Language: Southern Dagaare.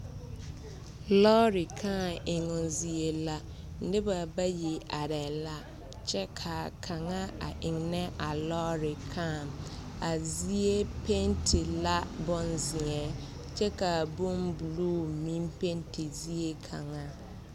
Lɔɔre kaa eŋmo zie la noba bayi arɛɛ la kyɛ ka kaŋ eŋnɛ a lɔɔre kaa a zie penti la bonzie kyɛ ka bonbuluu meŋ penti zie kaŋa.